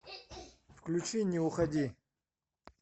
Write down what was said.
включи не уходи